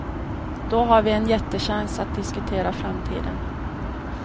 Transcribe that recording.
Då har vi en jättechans att diskutera framtiden.